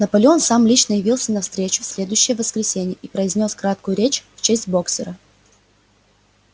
наполеон сам лично явился на встречу в следующее воскресенье и произнёс краткую речь в честь боксёра